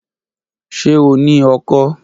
Ṣe o ni ọkọ́?